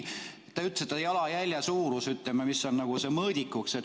Te ütlesite, et jalajälje suurus on nagu see mõõdik.